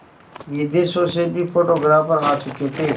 विदेशों से भी फोटोग्राफर आ चुके थे